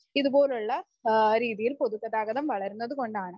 ഇതുപോലുള്ള രീതിയിൽ പൊതുഗതാഗതം വളരുന്നത് കൊണ്ടാണ്.